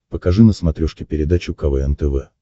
покажи на смотрешке передачу квн тв